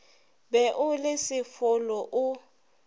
be o le sefolo o